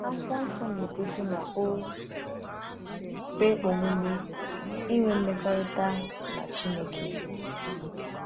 Akwụkwọ Nsọ na-egosi na o kwe omume ịnwe mmekọrịta na Chineke.